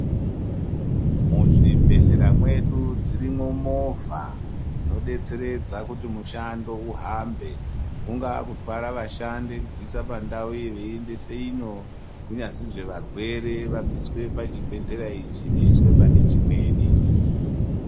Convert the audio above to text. Muzvibhedhlera mwedu dzirimwo movha dzinodetseredza kuti mushando uhambe kungaa kutwara ashandi kubvise pandau iyi veiendese ino, kunyazwi varwere vabviswe pachibhedhleya ichi veiswe pane chimweni.